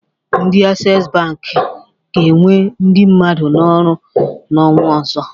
Ndị Aksesi Bankị ga-ewe ndị mmadụ n'ọrụ n'ọnwa ọzọ.